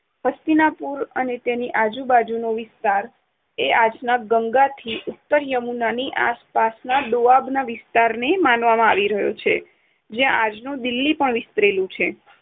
હસ્તિનાપુર અને તેની આજુબાજુનો વિસ્તાર આજના ગંગાથી ઉત્તર યમુનાની આસપાસના દુઆબના વિસ્તારને માનવામાં આવી રહ્યો છે, જ્યાં આજનું દિલ્લી પણ વિસ્તરેલું છે.